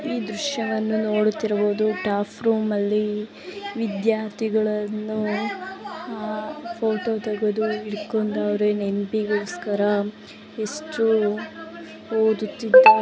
ಈ ದೃಶ್ಯವನ್ನು ನೋಡುತ್ತಿರುವುದು ಸ್ಟಾಫ್ ರೂಮಲ್ಲಿ ವಿದ್ಯಾರ್ಥಿಗಳನ್ನು ಫೋಟೋ ತೆಗೆದು ಇಟ್ಕೊಂಡಿದ್ದಾರೆ ನೆನಪಿಗೋಸ್ಕರ ಎಷ್ಟು ಓದುತ್ತಿದ್ದಾರೆ.